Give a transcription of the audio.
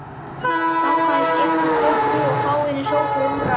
Samkvæmisgestir klöppuðu og fáeinir hrópuðu húrra.